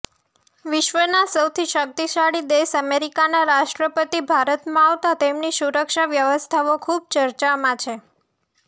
વિશ્વના સૌથી શક્તિશાળી દેશ અમેરિકાના રાષ્ટ્રપતિ ભારતમાં આવતા તેમની સુરક્ષા વ્યવસ્થાઓ ખુબ ચર્ચામાં છે